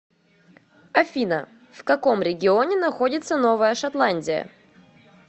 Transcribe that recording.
афина в каком регионе находится новая шотландия